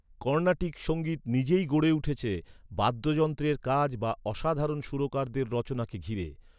কর্ণাটিক সঙ্গীত নিজেই গড়ে উঠেছে, বাদ্যযন্ত্রের কাজ বা অসাধারণ সুরকারদের রচনাকে ঘিরে।